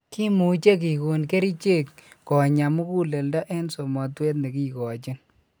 Kimuche kigon kerichek konya muguleldo en somotwet negikochin.